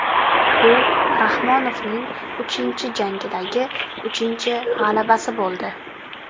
Bu Rahmonovning uchinchi jangidagi uchinchi g‘alabasi bo‘ldi.